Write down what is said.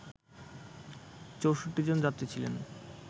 ৬৪ জন যাত্রী ছিলেন